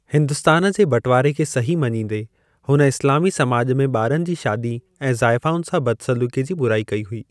हिंदुस्‍तान जे बटवारे खे सही मञींदे, हुन इस्‍लामी समाज में ॿारनि जी शादी ऐं ज़ाइफुनि सां बदसलूकी जी बुराई कयी हुयी।